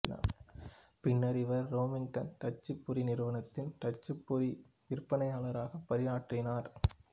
பின்னர் இவர் ரெமிங்டன் தட்டச்சுப்பொறி நிறுவனத்தின் தட்டச்சுப்பொறி விற்பனையாளராக பணியாற்றினார்